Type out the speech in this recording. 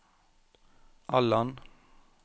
Allan